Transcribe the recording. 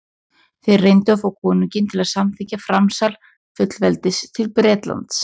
þeir reyndu að fá konunginn til að samþykkja framsal fullveldis til bretlands